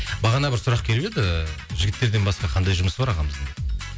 бағана бір сұрақ келіп еді жігіттерден басқа қандай жұмысы бар ағамыздың